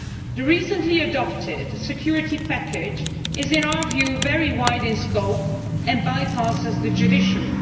The recently adopted security package is, in our view, very wide in scope and bypasses the judiciary.